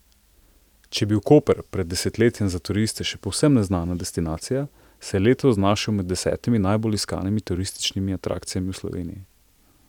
Če je bil Koper pred desetletjem za turiste še povsem neznana destinacija, se je letos znašel med desetimi najbolj iskanimi turističnimi atrakcijami v Sloveniji.